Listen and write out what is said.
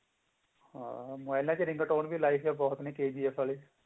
ਮੋਬਾਇਲਾਂ ਚ ring tone ਵੀ ਲਈ ਹੋਈ ਹੈ ਬਹੁਤ ਨੇ KGF ਅਲੋ